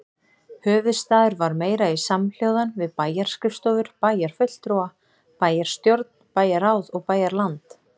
Höfuðstaður var meira í samhljóðan við bæjarskrifstofur, bæjarfulltrúa, bæjarstjórn, bæjarráð og bæjarland.